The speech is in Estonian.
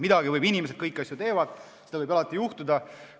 Midagi võib valesti minna, kõiki asju teevad inimesed, seda võib alati juhtuda.